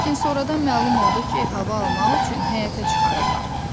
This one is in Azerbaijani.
Lakin sonradan məlum oldu ki, hava almaq üçün həyətə çıxarırlar.